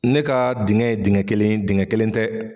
Ne ka dingɛ ye dingɛ kelen ye, dingɛ kelen tɛ.